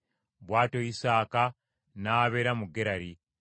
Bw’atyo Isaaka n’abeera mu Gerali,